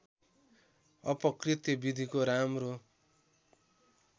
अपकृत्य विधिको राम्रो